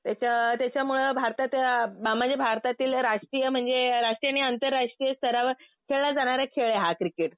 त्याच्या त्याच्यामुळं भारतात म्हणजे भारतातील राष्ट्रीय म्हणजे राष्ट्रीय आणि आंतरराष्ट्रीय स्तरावर खेळला जाणारा खेळ आहे हा क्रिकेट.